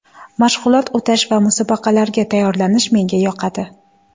Mashg‘ulot o‘tash va musobaqalarga tayyorlanish menga yoqadi.